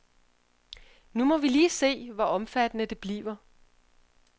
Nu må vi lige se, hvor omfattende det bliver.